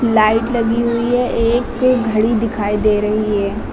Light लगी हुई है एक घड़ी दिखाई दे रही है।